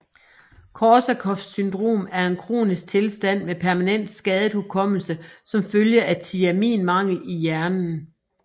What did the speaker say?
Korsakoffs syndrom er en kronisk tilstand med permanent skadet hukommelse som følge af tiaminmangel i hjernen